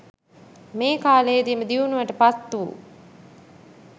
මේ කාලයේදිම දියුණුවට පත්වු